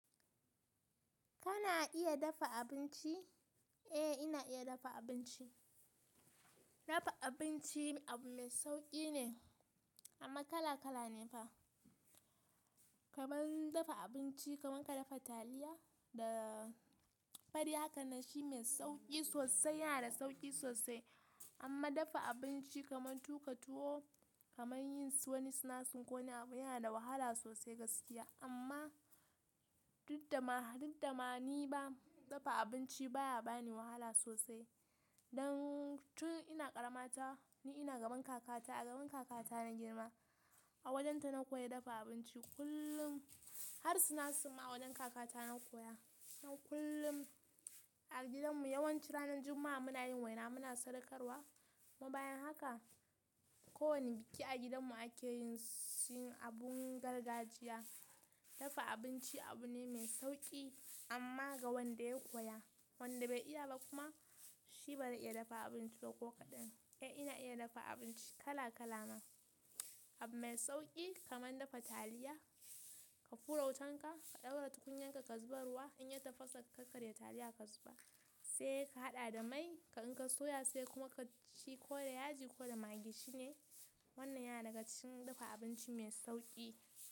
Kana iya dafa abinci? Eh, ina iya dafa abinci. Dafa abinci abu mai sauƙi ne amma kala kala ne fa. Kaman dafa abinci kaman ka dafa taliya da fari haka nan shi mai sauƙi sosai, yana da sauƙi sosai amma dafa abinci kaman tuƙa tuwo, kaman yin su wani sinasir ko wani abu yana da wahala sosai gaskiya amma duddama, duddama ni ba, dafa abinci baya bani wahala sosai. Don tun ina ƙaramata ni ina gaban kakata. A gaban kakata na girma. A wajenta na koya dafa abinci kullum har sinasir ma a wajen kakata na koya. Nan kullum a gidanmu yawanci ranar juma'a muna yin waina muna sadakarwa. Kuma bayan haka ko wani biki a gidanmu ake yin abun gargajiya. Dafa abinci abu ne mai sauƙi amma ga wanda ya koya. Wanda bai iya ba kuma shi bazai iya dafa abinci ba ko kaɗan. Eh ina iya dafa abinci kala kala ma. Abu mai sauƙi kaman dafa taliya ka fura wutanka ka, ka ɗaura tukunyan ka, ka zuba ruwa in ya tafasa ka karya taliya ka zuba, sai ka haɗa da mai, ka inka soya sai kuma ka ci ko da yaji ko da magi shine. Wannan yana daga cikin dafa abinci mai sauƙi.